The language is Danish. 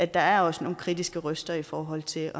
der er også nogle kritiske røster i forhold til